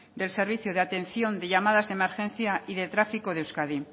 de servicio de atención de llamadas de emergencia y de tráfico de euskadi